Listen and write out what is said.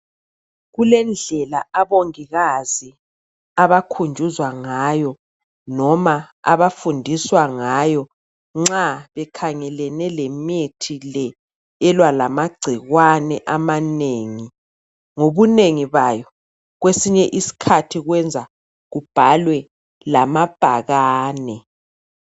Kulendlela abongikazi abakhunjuzwa ngayo noma abafundiswa ngayo nxa bekhangelene lemithi le elwa lamagcikwane amanengi ngobunengi bayo kwesinye isikhathi kwenza kubhalwe lamabhakane.